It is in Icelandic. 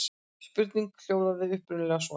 Spurningin hljóðaði upprunalega svona: